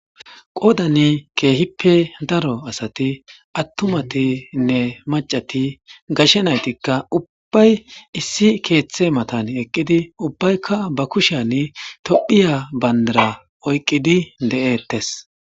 Qoodani keehippe daro asati attumatinne macati gashe naytikka ubbay issi keeththe matan eqqidi ubbaykka ba kusheyan tophiya bandara oyqqidi de'ettes.